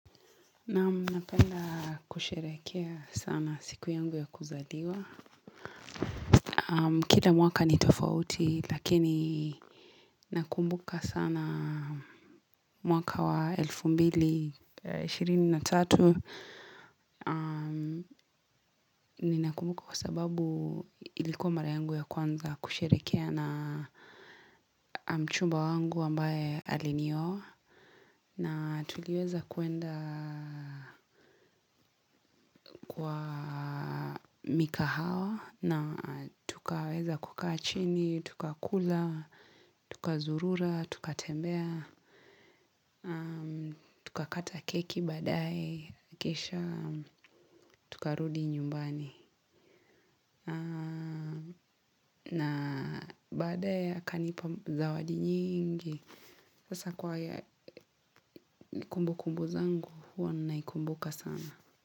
Naam, napenda kusherehekea sana siku yangu ya kuzaliwa. Kila mwaka ni tofauti lakini nakumbuka sana mwaka wa elfu mbili ishirini na tatu. Ninakumbuka kwa sababu ilikuwa mara yangu ya kwanza kusherehekea na mchumba wangu ambaye alinioa. Na tuliweza kuenda kwa mikahawa na tukaweza kukaa chini, tukakula, tukazurura, tukatembea, tukakata keki badaye, kisha tukarudi nyumbani. Na baadaye akanipa zawadi nyingi, sasa kwa haya kumbukumbu zangu hua naikumbuka sana.